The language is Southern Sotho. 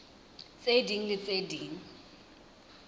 tse ding le tse ding